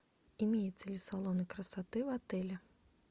имеются ли салоны красоты в отеле